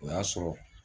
O y'a sɔrɔ